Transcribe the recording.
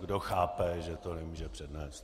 kdo chápe, že to nemůže přednést.